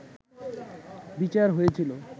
বিচার হয়েছিল